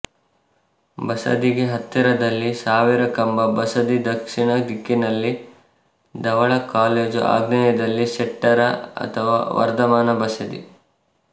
ಬಸದಿಗೆ ಹತ್ತಿರದಲ್ಲಿ ಸಾವಿರಕಂಬ ಬಸದಿ ದಕ್ಷಿಣ ದಿಕ್ಕಿನಲ್ಲಿ ಧವಳಾ ಕಾಲೇಜು ಆಗ್ನೇಯದಲ್ಲಿ ಶೆಟ್ಟರ ಅಥವಾ ವರ್ಧಮಾನ ಬಸದಿ